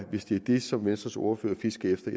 hvis det er det som venstres ordfører fisker efter